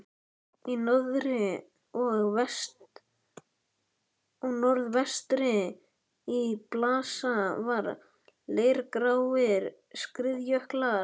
Í norðri og norðvestri blasa við leirgráir skriðjöklar.